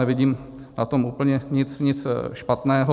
Nevidím na tom úplně nic špatného.